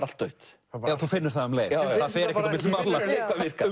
allt dautt já þú finnur það um leið það fer ekkert á milli mála ég